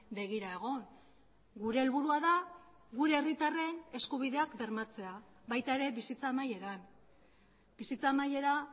begira egon gure helburua da gure herritarren eskubideak bermatzea baita ere bizitza amaieran bizitza amaiera